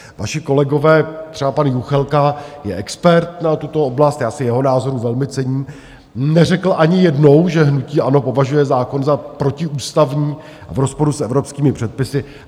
Vaši kolegové, třeba pan Juchelka je expert na tuto oblast, já si jeho názoru velmi cením, neřekl ani jednou, že hnutí ANO považuje zákon za protiústavní a v rozporu s evropskými předpisy.